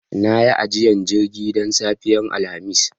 Na yi ajiyar jirgi don safiyar Alhamis